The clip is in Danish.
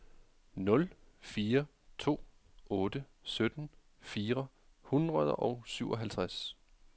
nul fire to otte sytten fire hundrede og syvoghalvtreds